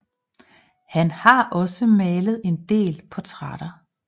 Han har også malet en del portrætter